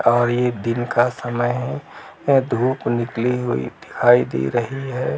और ये दिन का समय है| अ धूप निकली हुई दिखाई दे रही है।